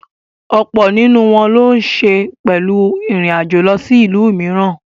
Ọ̀pọ̀ nínú wọn ló ń se pẹ̀lú ìrìn àjò lọ sí ìlú mìíràn.